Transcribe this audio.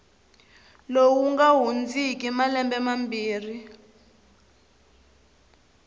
lowu nga hundziki malembe mambirhi